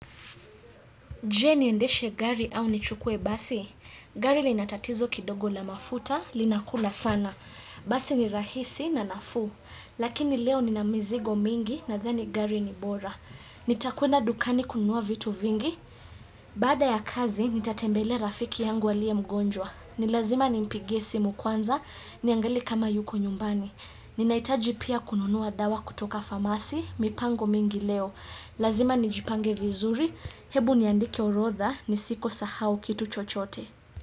Je, niendeshe gari au nichukue basi? Gari lina tatizo kidogo la mafuta, linakula sana. Basi ni rahisi na nafuu. Lakini leo nina mizigo mingi nadhani gari ni bora. Nitakwenda dukani kununua vitu vingi. Baada ya kazi, nitatembelea rafiki yangu aliye mgonjwa. Ni lazima nimpigie simu kwanza, niangalie kama yuko nyumbani. Ninahitaji pia kununua dawa kutoka famasi, mipango mingi leo. Lazima nijipange vizuri, hebu niandike orodha nisiko sahau kitu chochote.